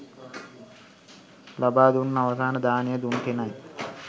ලබා දුන්න අවසන් දානය දුන් කෙනයි.